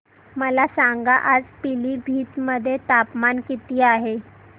मला सांगा आज पिलीभीत मध्ये तापमान किती आहे